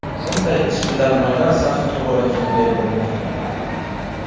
Bunday ishbilarmonlar safi tobora kengayib bormoqda.